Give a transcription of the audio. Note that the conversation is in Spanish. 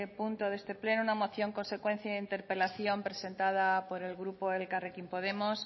punto de este pleno una moción consecuencia de interpelación presentada por el grupo elkarrekin podemos